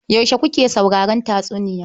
Yaushe kuka saurari tatsuniyar?